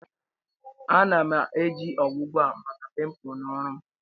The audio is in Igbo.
Ana-eji ọgwụgwọ a maka pimpu na ọrụ m